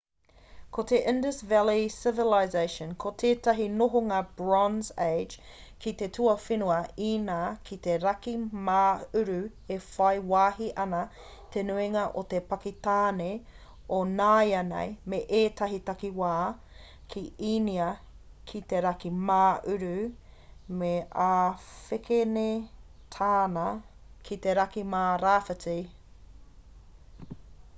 ko te indus valley civilization ko tētahi nōhanga bronze age ki te tuawhenua īnia ki te raki mā uru e whai wāhi ana te nuinga o pakitāne o nāianei me ētahi takiwā ki īnia ki te raki mā uru me āwhekenetāna ki te raki mā rāwhiti